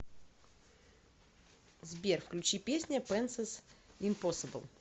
сбер включи песня пэнсэс импосибл